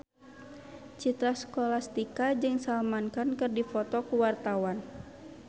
Citra Scholastika jeung Salman Khan keur dipoto ku wartawan